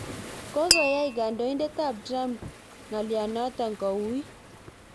Kokoyai kandoinatet ab Trump ng'alyanoto kouit